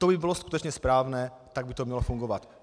To by bylo skutečně správné, tak by to mělo fungovat.